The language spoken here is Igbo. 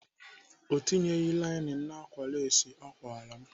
Ọ tinyeghị lainin n'ákwà lesị ọ kwara m